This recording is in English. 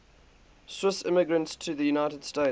swiss immigrants to the united states